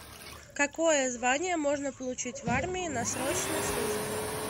какое звание можно получить в армии на срочной службе